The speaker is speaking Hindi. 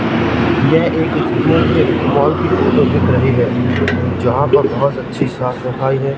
यह एक मुझे मॉल की फोटो दिख रही है जहां पर बहोत अच्छी साफ सफाई है।